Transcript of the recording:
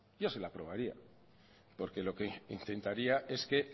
yo se la aprobaría porque lo que intentaría es que